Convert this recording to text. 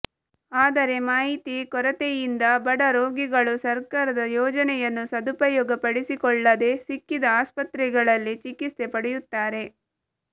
ಆದರೆ ಮಾಹಿತಿ ಕೊರತೆಯಿಂದ ಬಡ ರೋಗಿಗಳು ಸರಕಾದ ಯೋಜನೆಯನ್ನು ಸದುಪಯೋಗಪಡಿಸಿಕೊಳ್ಳದೇ ಸಿಕ್ಕಿದ ಆಸ್ಪತ್ರೆಗಳಲ್ಲಿ ಚಿಕಿತ್ಸೆ ಪಡೆಯುತ್ತಾರೆ